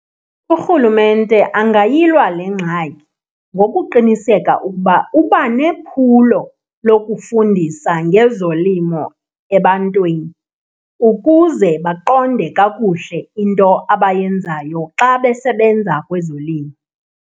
Urhulumente angayilwa le ngxaki ngokuqiniseka ukuba uba nephulo lokufundisa ngezolimo ebantwini, ukuze baqonde kakuhle into abayenzayo xa besebenza kwezolimo.